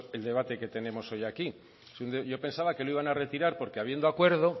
es el debate que tenemos hoy aquí yo pensaba que lo iban a retirar porque habiendo acuerdo